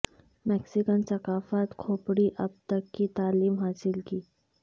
Mexican ثقافت کھوپڑی اب تک کی تعلیم حاصل کی